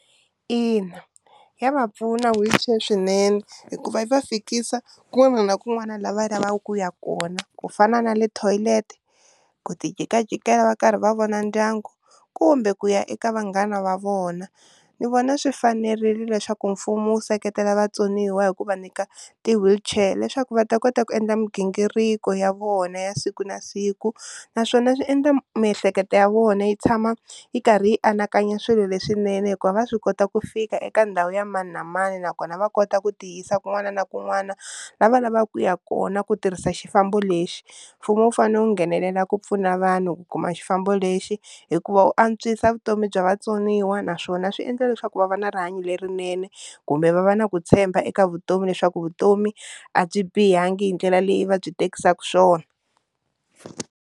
Ina ya va pfuna swinene hikuva yi va fikisa kun'wana na kun'wana la lavaka ku ya kona, ku fana na le toilet ku ti jikajikela va karhi va vona ndyangu kumbe ku ya eka vanghana va vona, ni vona swi fanerile leswaku mfumo wu seketela vatsoniwa hi ku va nyika ti wheelchair leswaku va ta kota ku endla mighingiriko ya vona ya siku na siku, naswona swi endla miehleketo ya vona yi tshama yi karhi yi anakanya swilo leswinene hikuva va swi kota ku fika eka ndhawu ya mani na mani nakona va kota ku tiyisa kun'wana na kun'wana lava lavaka ku ya kona ku tirhisa xifambo lexi, mfumo wu fanele wu nghenelela ku pfuna vanhu ku kuma xifambo lexi hikuva u antswisa vutomi bya vatsoniwa naswona swi endla leswaku va va na rihanyo lerinene kumbe va va na ku tshemba eka vutomi leswaku vutomi a byi bihangi hi ndlela leyi va byi tekisaka swona.